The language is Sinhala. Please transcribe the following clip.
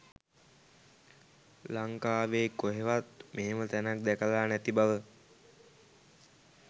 ලංකාවේ කොහෙවත් මෙහෙම තැනක් දැකල නැති බව